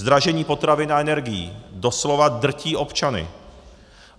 Zdražení potravin a energií doslova drtí občany.